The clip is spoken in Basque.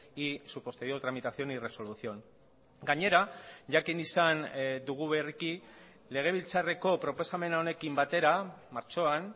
y su posterior tramitación y resolución gainera jakin izan dugu berriki legebiltzarreko proposamen honekin batera martxoan